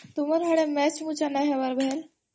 ତୁମର ହେଇଆଡେ ମ୍ୟାଚ୍ ମୁଚା ନାଇଁ ହବାର୍ କେଁ?